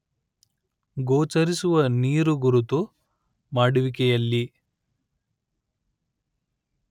ಗೋಚರಿಸುವ ನೀರುಗುರುತು ಮಾಡುವಿಕೆಯಲ್ಲಿ